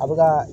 A bɛ ka